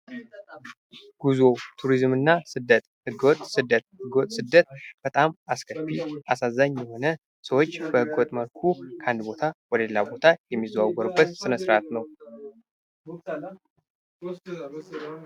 ጉዞ፥ ቱሪዝምና ስደት ህገወጥ ስደት:- ህገ ወጥ ስደት በጣም አስከፊ እና አሳዛኝ የሆነ ሰዎች በህገ ወጥ መልኩ ከአንድ ቦታ ወደሌላ ቦታ የሚዘዋወሩበት ስነስርአት ነው።